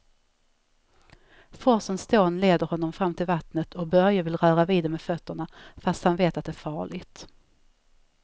Forsens dån leder honom fram till vattnet och Börje vill röra vid det med fötterna, fast han vet att det är farligt.